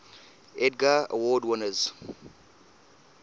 edgar award winners